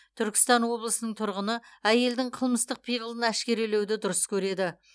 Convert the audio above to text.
түркістан облысының тұрғыны әйелдің қылмыстық пиғылын әшкерелеуді дұрыс көреді